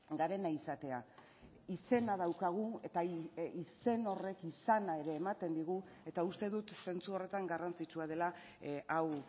garena izatea izena daukagu eta izen horrek izana ere ematen digu eta uste dut zentzu horretan garrantzitsua dela hau